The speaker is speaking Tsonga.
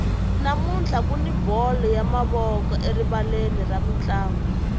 namuntlha kuni bolo ya mavoko erivaleni ra mintlangu